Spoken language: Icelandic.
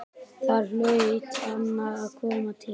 Þar hlaut annað að koma til.